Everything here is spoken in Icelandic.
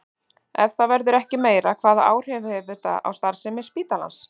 Ef það verður ekki meira, hvaða áhrif hefur það á starfsemi spítalans?